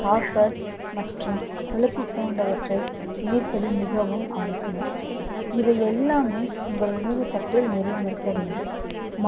copper மற்றும் கொழுப்பு போன்றவற்றை இணைப்பது மிகவும் அவசியம். இவை எல்லாமே உங்கள் உணவு தட்டில் நிறைந்திருக்க வேண்டும்